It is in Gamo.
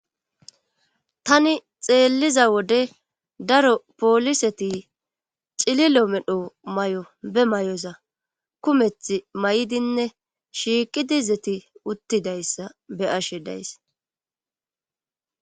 Tani xeelliza wode daro pooliseti cililo medho mayo be mayoza kumeth mayidinne shiiqidi izeti uttidayssa be7ishe days.